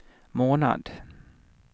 månad